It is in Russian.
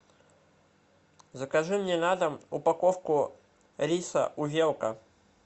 закажи мне на дом упаковку риса увелка